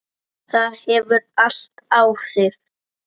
Það hefur allt áhrif.